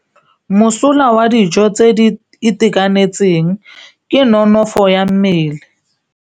Mosola wa dijô tse di itekanetseng ke nonôfô ya mmele.